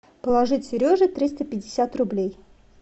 положить сереже триста пятьдесят рублей